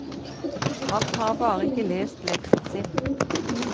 Han har bare ikke lest leksen sin.